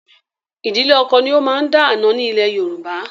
Ìdílé ọkọ ni ó máa ń dá àna ni ilẹ̀ Yorùbá.